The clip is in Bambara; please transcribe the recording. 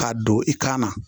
K'a don i kan na